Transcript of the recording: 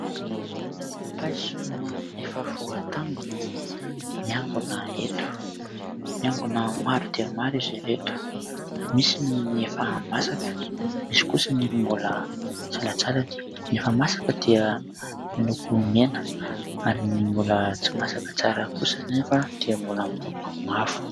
Paiso efa voatango no miangona eto. Miangona maro dia maro izy ireto, misy ny efa masaka, misy kosa ny mbola salantsalany. Ny efa masaka dia miloko mena ary ny mbola tsy masaka tsara kosa anefa dia mbola miloko mavo.